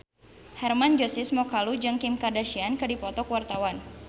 Hermann Josis Mokalu jeung Kim Kardashian keur dipoto ku wartawan